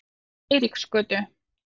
Eiríksgötu